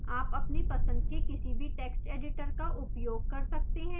आप अपने पसंद के किसी भी text editor का उपयोग कर सकते हैं